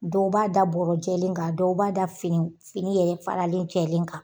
Dɔw b'a da bɔrɔ jɛlen kan dɔw b'a da fini fini yɛrɛ faralen jɛlen kan